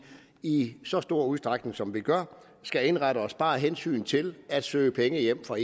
i så stor udstrækning som vi gør det skal indrette os bare af hensyn til at søge penge hjem fra